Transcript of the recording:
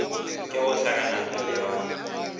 ke go hlakanana le ba